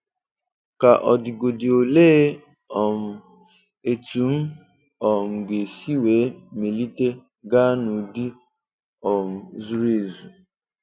Ka ọ digodị olee um etụm um ga-esi wee melite gáá n'ụdị um zuru ezu?